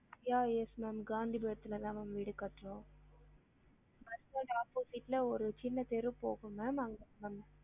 Yeah yes ma'am காந்திபுரத்துல தான் ma'am வீடு கட்றோம் bus stand opposite ல ஒரு சின்ன தெரு போகும் ma'am அங்க தான் ma'am